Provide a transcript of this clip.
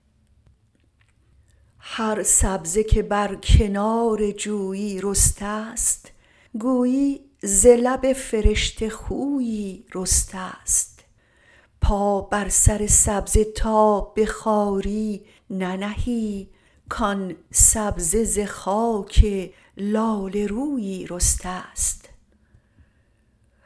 هر سبزه که بر کنار جویی رسته ست گویی ز لب فرشته خویی رسته ست پا بر سر سبزه تا به خواری ننهی کآن سبزه ز خاک لاله رویی رسته ست